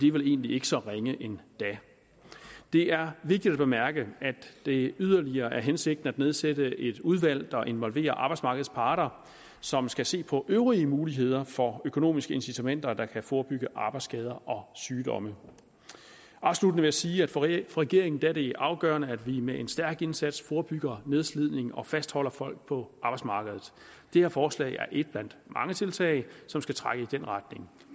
er vel egentlig ikke så ringe endda det er vigtigt at bemærke at det yderligere er hensigten at nedsætte et udvalg der involverer arbejdsmarkedets parter som skal se på øvrige muligheder for økonomiske incitamenter der kan forebygge arbejdsskader og sygdomme afsluttende vil jeg sige at for regeringen er det afgørende at vi med en stærk indsats forebygger nedslidning og fastholder folk på arbejdsmarkedet dette forslag er et blandt mange tiltag som skal trække i den retning